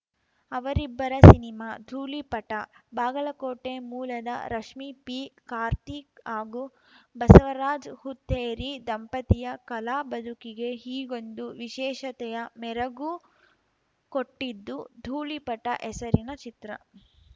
ಅವರಿಬ್ಬರ ಸಿನಿಮಾ ಧೂಳಿಪಟ ಬಾಗಲಕೋಟೆ ಮೂಲದ ರಶ್ಮಿ ಪಿ ಕಾರ್ತಿ ಹಾಗೂ ಬಸವರಾಜ್ ಹುತ್ತೇರಿ ದಂಪತಿಯ ಕಲಾ ಬದುಕಿಗೆ ಹೀಗೊಂದು ವಿಶೇಷತೆಯ ಮೆರುಗು ಕೊಟ್ಟಿದ್ದು ಧೂಳಿಪಟ ಹೆಸರಿನ ಚಿತ್ರ